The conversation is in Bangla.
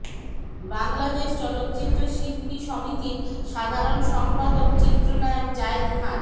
বাংলাদেশ চলচ্চিত্র শিল্পী সমিতির সাধারণ সম্পাদক চিত্রনায়ক জায়েদ খান